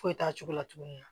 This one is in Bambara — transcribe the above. Foyi t'a cogo la tuguni